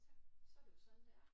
Så så er det jo sådan det er